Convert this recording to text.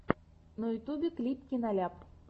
на ютюбе клип киноляп